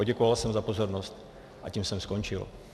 Poděkoval jsem za pozornost a tím jsem skončil.